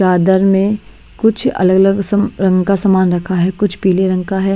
दादर में कुछ अलग अलग सम रंग का सामान रखा है कुछ पीले रंग का है।